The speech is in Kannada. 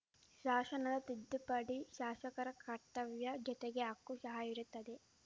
ಶಾಶನದ ತಿದ್ದುಪಡಿ ಶಾಶಕರ ಕರ್ತವ್ಯ ಜೊತೆಗೆ ಹಕ್ಕು ಶಹ ಇರುತ್ತದೆ